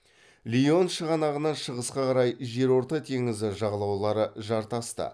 лион шығанағынан шығысқа қарай жерорта теңізі жағалаулары жартасты